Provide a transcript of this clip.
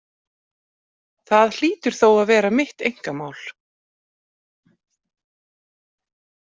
Það hlýtur þó að vera mitt einkamál.